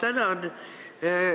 Ma tänan!